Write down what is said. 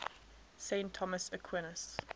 saint thomas aquinas